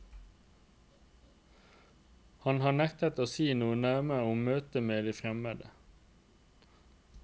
Han har nektet å si noe nærmere om møtet med de fremmede.